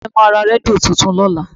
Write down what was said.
Ẹ̀gbọ́n mi máa ra rédíò tuntun lọ́la